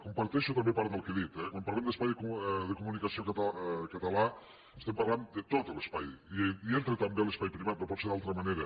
comparteixo també part del que ha dit eh quan parlem d’espai de comunicació català estem parlant de tot l’espai i hi entra també l’espai privat no pot ser d’altra manera